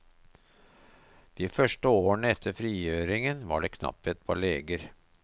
De første årene etter frigjøringen var det knapphet på leger.